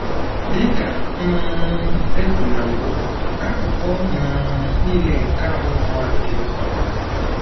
Dị ka um e kwuru na mbụ, akụkụ um nile nke ahụ mmadụ dị mkpa.